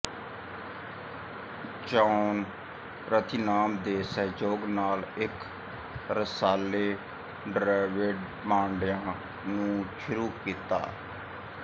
John Rathinam ਦੇ ਸਹਿਯੋਗ ਨਾਲ ਇੱਕ ਰਸਾਲੇ ਡ੍ਰਵਿਡ ਪਾਂਡੀਆਂ ਨੂੰ ਸ਼ੁਰੂ ਕੀਤਾ